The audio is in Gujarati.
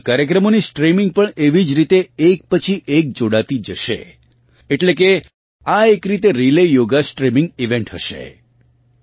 આ કાર્યક્રમોની સ્ટ્રિમીંગ પણ એવી જ રીતે એક પછી એક જોડાતી જશે એટલે કે આ એક રીતે રીલે યોગા સ્ટ્રિમીંગ ઇવેન્ટ હશે